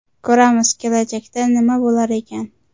Ko‘ramiz, kelajakda nima bo‘lar ekan.